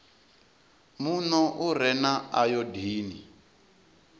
muno u re na ayodini